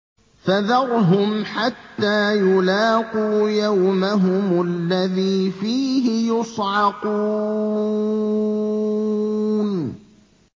فَذَرْهُمْ حَتَّىٰ يُلَاقُوا يَوْمَهُمُ الَّذِي فِيهِ يُصْعَقُونَ